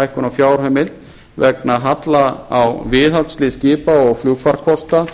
á fjárheimild vegna halla á viðhaldi skipa og flugfarkosta